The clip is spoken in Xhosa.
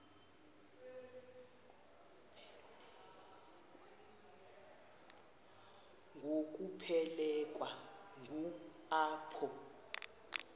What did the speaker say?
ngokuphelekwa ngu apho